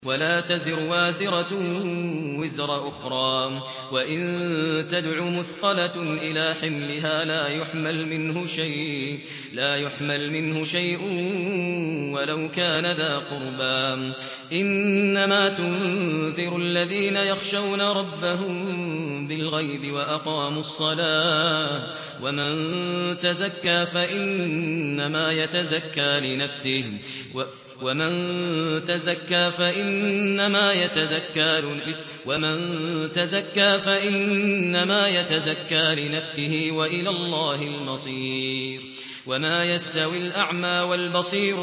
وَلَا تَزِرُ وَازِرَةٌ وِزْرَ أُخْرَىٰ ۚ وَإِن تَدْعُ مُثْقَلَةٌ إِلَىٰ حِمْلِهَا لَا يُحْمَلْ مِنْهُ شَيْءٌ وَلَوْ كَانَ ذَا قُرْبَىٰ ۗ إِنَّمَا تُنذِرُ الَّذِينَ يَخْشَوْنَ رَبَّهُم بِالْغَيْبِ وَأَقَامُوا الصَّلَاةَ ۚ وَمَن تَزَكَّىٰ فَإِنَّمَا يَتَزَكَّىٰ لِنَفْسِهِ ۚ وَإِلَى اللَّهِ الْمَصِيرُ